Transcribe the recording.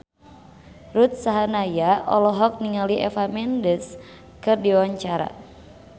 Ruth Sahanaya olohok ningali Eva Mendes keur diwawancara